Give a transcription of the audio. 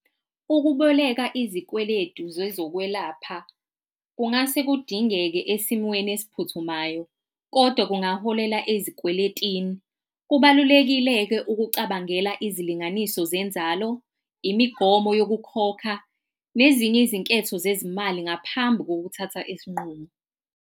Ukuboleka izikweletu zezokwelapha kungase kudingeke esimweni esiphuthumayo, kodwa kungaholela ezikweletini. Kubalulekile-ke ukucabangela izilinganiso zenzalo, imigomo yokukhokha nezinye izinketho zezimali ngaphambi kokuthatha isinqumo.